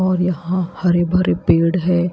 और यहां हरे भरे पेड़ है।